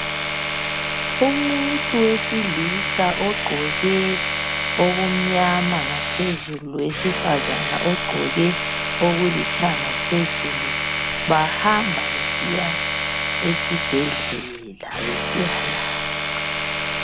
Umuntu wesilisa ogqoke okumnyama Phezulu lowesifazana ogqoke okulithanga phezulu bahamba besiya esibhedlela besiyalatshwa